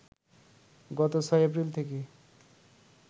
গত ৬ এপ্রিল থেকে